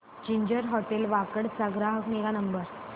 ginger Hotel Wakad चा ग्राहक निगा नंबर